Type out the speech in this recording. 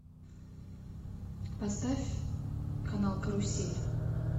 поставь канал карусель